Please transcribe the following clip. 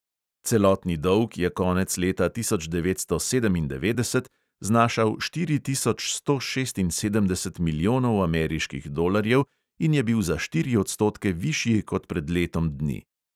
Celotni dolg je konec leta tisoč devetsto sedemindevetdeset znašal štiri tisoč sto šestinsedemdeset milijonov ameriških dolarjev in je bil za štiri odstotke višji kot pred letom dni.